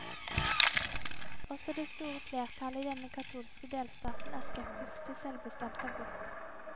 Også det store flertallet i denne katolske delstaten er skeptisk til selvbestemt abort.